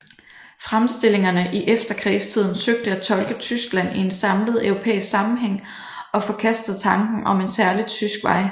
Fremstillingerne i efterkrigstiden søgte at tolke Tyskland i en samlet europæisk sammenhæng og forkastede tanken om en særlig tysk vej